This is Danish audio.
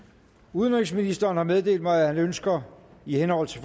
udenrigsministeren har meddelt mig at han ønsker i henhold til